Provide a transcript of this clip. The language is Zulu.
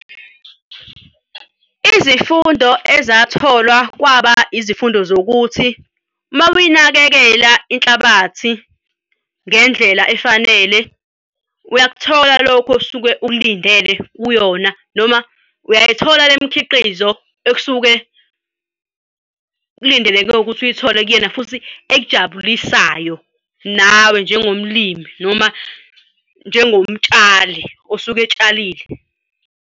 Izifundo ezatholwa kwaba izifundo zokuthi uma uyinakekela inhlabathi ngendlela efanele, uyakuthola lokho osuke ukulindele kuyona, noma uyayithola le mikhiqizo ekusuke kulindeleke ukuthi uyithole kuyena futhi ekujabulisayo nawe njengomlimi noma njengomtshali osuke etshalile.